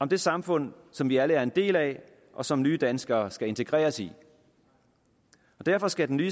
om det samfund som vi alle er en del af og som nye danskere skal integreres i derfor skal den nye